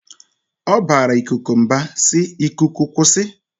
Ọ bara ikuku mba si"Ikuku kwụsị!